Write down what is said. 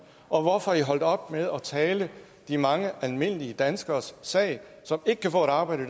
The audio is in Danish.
og hvorfor er i holdt op med at tale de mange almindelige danskeres sag som ikke kan få et arbejde